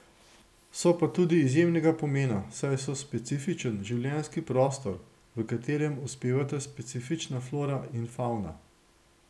So pa tudi izjemnega pomena, saj so specifičen življenjski prostor, v katerem uspevata specifična flora in favna.